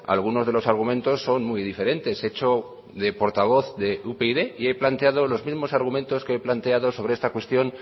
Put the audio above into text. algunos de los argumentos son muy diferentes he hecho de portavoz de upyd y he planteado los mismos argumentos que he planteado sobre esta cuestión